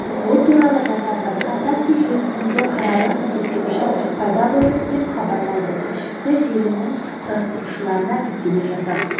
бұл туралы жазады онтакте желісінде қаралым есептеуіші пайда болды деп хабарлайды тілшісі желінің құрастырушыларына сілтеме жасап